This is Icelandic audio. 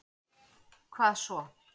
Hvað svo.